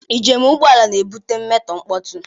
Njem ụgbọ ala na-ebute mmetọ mkpọtụ